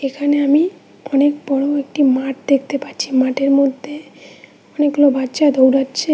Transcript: এখানে আমি অনেক বড়ো একটি মাঠ দেখতে পাচ্ছি মাঠের মধ্যে অনেকগুলো বাচ্চা দৌড়াচ্ছে।